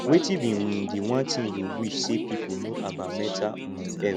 wetin be um di one thing you wish say people know about mental um health